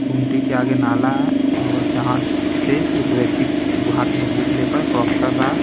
गुमटी के आगे नाला है और जहाँ से एक व्यक्ति हाथ में बुक लेकर क्रॉस कर रहा है।